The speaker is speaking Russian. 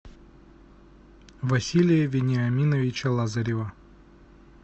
василия вениаминовича лазарева